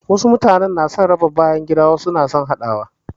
Wasu mutane sun fi son raba bayangida wasu kuma suna son haɗawa